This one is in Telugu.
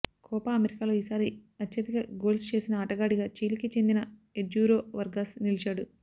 కోపా అమెరికాలో ఈసారి అత్యధిక గోల్స్ చేసిన ఆటగాడిగా చిలీకి చెందిన ఎడ్యూరో వర్గాస్ నిలిచాడు